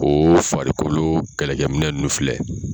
Ko farikolo kɛlɛkɛminɛn ninnu filɛ